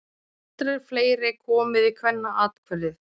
Aldrei fleiri komið í Kvennaathvarfið